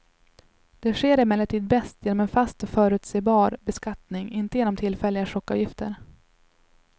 Det sker emellertid bäst genom en fast och förutsebar beskattning, inte genom tillfälliga chockavgifter.